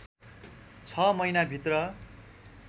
छ महिनाभित्र